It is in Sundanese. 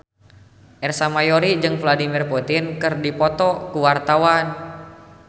Ersa Mayori jeung Vladimir Putin keur dipoto ku wartawan